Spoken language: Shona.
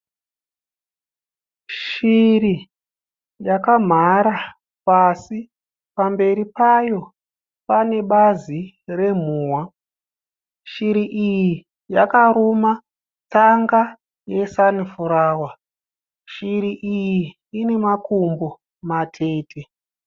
Shiri yakamhara pasi pamberi payo pane bazi remhuhwa. Shiri iyi yakaruma tsanga resanifurawa. Shiri iyi ine makumbo matete.